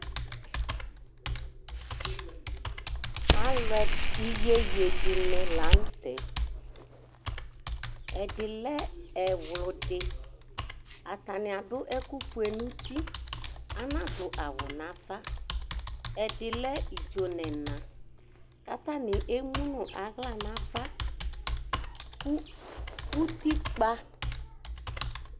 Iyeye dini lanʋtɛ ɛdi lɛ ɛwlʋdi, atani adʋ ɛkʋfue nʋ uti anadʋ awʋ nʋ ava, ɛdilɛ idzo nʋ ɛna kʋ atani emʋnʋ aɣla nʋ ava kʋ utikpa